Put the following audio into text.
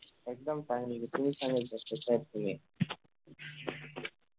एकदम Fine तुम्ही सांगा ना sir कशे आहेत तुम्ही